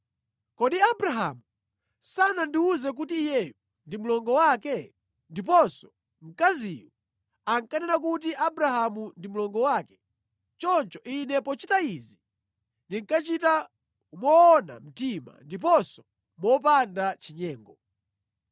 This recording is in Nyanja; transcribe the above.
Kodi Abrahamu sanandiwuze kuti iyeyu ndi mlongo wake? Ndiponso mkaziyu ankanena kuti Abrahamu ndi mlongo wake. Choncho ine pochita izi, ndinkachita moona mtima ndiponso mopanda chinyengo.”